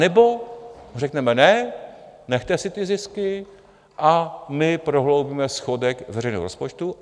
Anebo řekneme: Ne, nechte si ty zisky a my prohloubíme schodek veřejného rozpočtu.